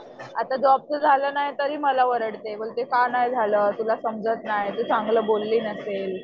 आता जॉबचं झालं नाही तरी मला ओरडते. बोलते का नाही झालं? तुला समजत नाही तू चांगली बोलली नसेल.